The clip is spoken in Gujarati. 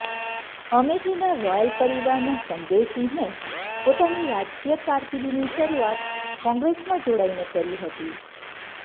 અમેઠીના રોયલ પરિવારના સંજયસિંહે પોતાની રાજકીય કારકિર્દીની શરૂઆત કોંગ્રેસમાં જોડાઈને કરી હતી